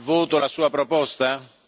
al voto la Sua proposta?